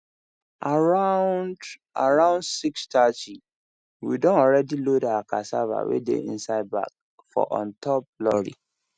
around around six thirty we don already load our cassava wey dey inside bag for on top lorry